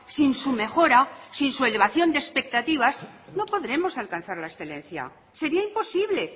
sin su mejora sin su elevación de expectativas no podremos alcanzar la excelencia sería imposible